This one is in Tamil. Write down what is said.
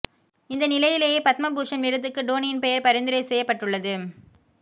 இந்தநிலையிலேயே பத்மபூஷண் விருதுக்கு டோனியின் பெயர் பரிந்துரை செய்யப்பட்டுள்ளது